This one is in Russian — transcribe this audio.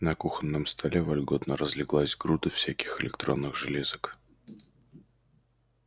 на кухонном столе вольготно разлеглась груда всяких электронных железок